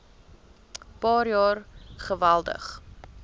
paar jaar geweldig